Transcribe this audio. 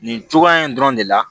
Nin cogoya in dɔrɔn de la